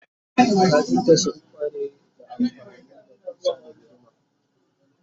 kafinta sun kware amfani da kusa da guduma